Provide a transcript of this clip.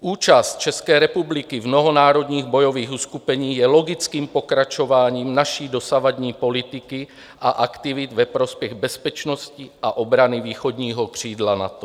Účast České republiky v mnohonárodních bojových uskupení je logickým pokračováním naší dosavadní politiky a aktivit ve prospěch bezpečnosti a obrany východního křídla NATO.